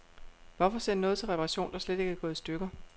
Hvorfor sende noget til reparation, der slet ikke er gået i stykker.